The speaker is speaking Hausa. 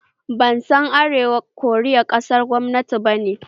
Ban san Arewacin Korea ƙasar kwamunanci bane